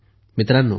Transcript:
मित्रांनो